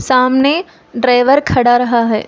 सामने ड्राइवर खड़ा रहा है।